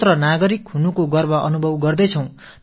சுதந்திரமான குடிமக்கள் என்ற பெருமித உணர்வோடும் இருக்கிறோம்